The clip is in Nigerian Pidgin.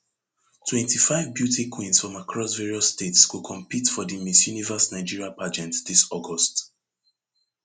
twenty-five beauty queens from across various states go compete for di miss universe nigeria pageant dis august